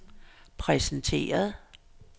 præsenteret